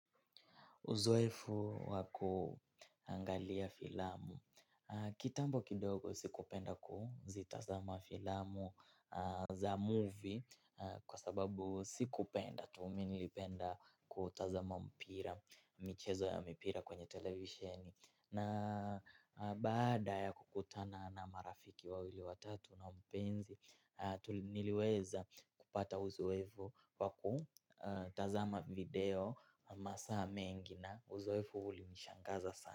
Uzoefu wa kuangalia filamu. Kitambo kidogo sikupenda kuzitazama filamu za movie kwa sababu sikupenda tuu mi nilipenda kutazama mpira michezo ya mpira kwenye televisheni. Na baada ya kukutana na marafiki wawili watatu na mpenzi tu niliweza kupata uzoefu wa kutazama video masaa mengi na uzoefu ulinishangaza sana.